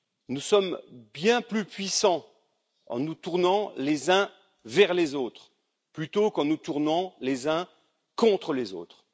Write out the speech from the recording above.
Nous sommes bien plus puissants en nous tournant les uns vers les autres, plutôt qu'en nous tournant les uns contre les autres.